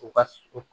U ka